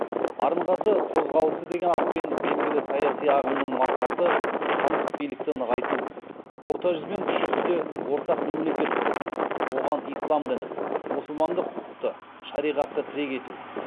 арынғазы қозғалысы деген атпен белгілі саяси ағымның мақсаты хандық билікті нығайту орта жүз бен кіші жүзде ортақ мемлекет құру оған ислам дінін мұсылмандық құқықты шариғатты тірек ету